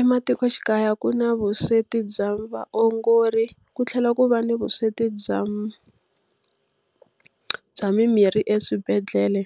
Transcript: Ematikoxikaya ku na vusweti bya vaongori, ku tlhela ku va ni vusweti bya bya mimirhi eswibedhlele.